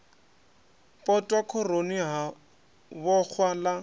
potwa khoroni ha vhoxwa ḽa